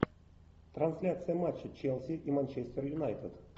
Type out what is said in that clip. трансляция матча челси и манчестер юнайтед